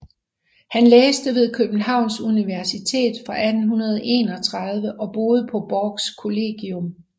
Han læste ved Københavns Universitet fra 1831 og boede på Borchs Kollegium